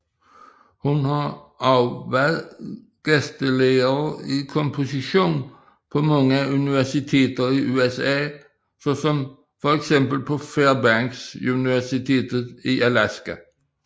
Hun har også været gæstelærer i komposition på mange universiteter i USA såsom feks på Fairbanks Universitet i Alaska